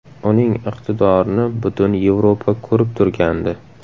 Uning iqtidorini butun Yevropa ko‘rib turgandi.